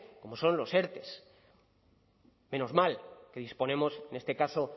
como son los erte menos mal que disponemos en este caso